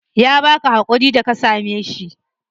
Ya baka hakuri da ka same shi?